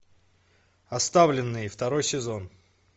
оставленные второй сезон